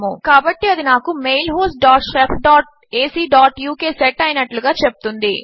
కాబట్టి అది నాకు అది mail host dot shef dot AC dot uk set అయినట్లుగా చెపుతుంది